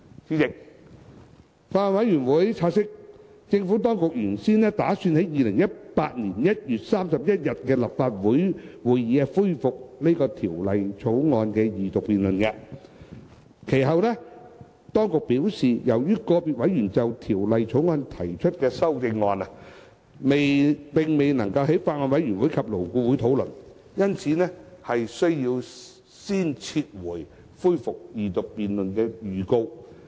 主席，法案委員會察悉，政府當局原先打算在2018年1月31日的立法會會議上恢復《條例草案》的二讀辯論，其後當局表示，由於個別委員就《條例草案》提出的修正案並未在法案委員會及勞顧會討論，因此須先撤回恢復二讀辯論的預告。